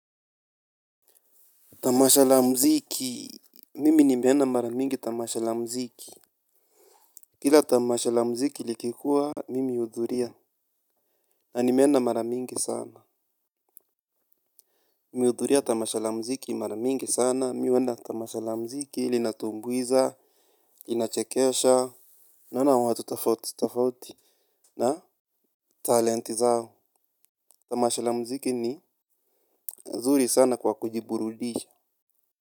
Tamasha la mziki, mimi nimeenda maramingi tamasha la mziki. Kila tamasha la mziki likikuwa, mimi uhudhuria na nime enda maramingi sana nime hudhuria tamasha la mziki mara mingi sana, mi huenda tamasha la mziki, linatuibuiza, inachekesha. Naona watu tofauti na talenti zao tamasha la mziki ni mzuri sana kwa kujiburudisha.